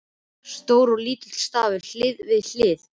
Stór og lítill stafur hlið við hlið.